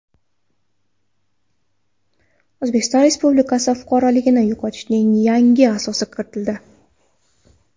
O‘zbekiston Respublikasi fuqaroligini yo‘qotishning yangi asosi kiritildi.